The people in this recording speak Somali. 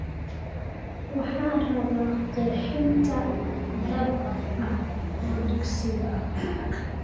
Waxaan rabaa qeexitaan dhab ah oo dugsiga ah